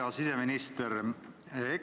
Hea siseminister!